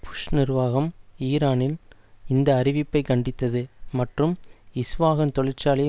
push நிர்வாகம் ஈரானின் இந்த அறிவிப்பை கண்டித்தது மற்றும் இஸ்வாகன் தொழிற்சாலையை